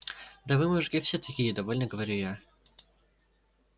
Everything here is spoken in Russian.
да вы мужики все такие довольно говорю я